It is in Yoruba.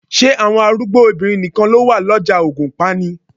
Ṣé àwọn arúgbó obìnrin nìkan ló wà lọ́jà ògùnpa ni?